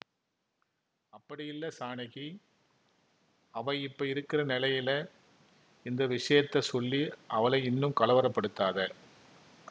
அப்படியில்ல ஜானகி அவ இப்ப இருக்கிற நெலையில இந்த விஷயத்தச் சொல்லி அவள இன்னும் கலவர படுத்தாத